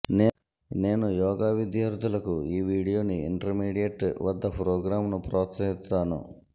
నేను యోగ విద్యార్థులకు ఈ వీడియోని ఇంటర్మీడియట్ వద్ద ప్రోగ్రాంను ప్రోత్సహిస్తాను